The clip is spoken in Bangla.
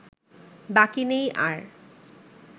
বাকি নেই আর